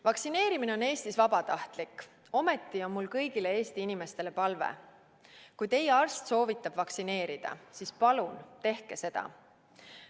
Vaktsineerimine on Eestis vabatahtlik, ometi on mul kõigile Eesti inimestele palve: kui teie arst soovitab vaktsineerida, siis palun tehke seda.